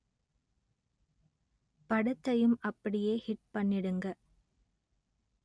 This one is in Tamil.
படத்தையும் அப்படியே ஹிட் பண்ணிடுங்க